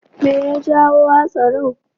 Me ya jawo hatsarin?